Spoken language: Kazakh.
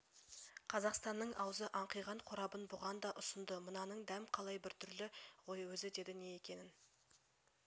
қазақстанның аузы аңқиған қорабын бұған да ұсынды мынаның дәм қалай біртүрлі ғой өзі деді не екенін